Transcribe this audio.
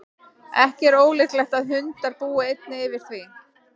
ekki er ólíklegt að hundar búi einnig yfir því